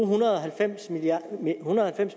hundrede og halvfems